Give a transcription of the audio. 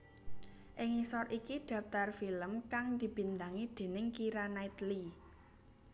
Ing ngisor iki dhaptar film kang dibintangi déning Keira Knightley